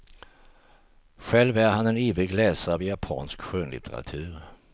Själv är han en ivrig läsare av japansk skönlitteratur.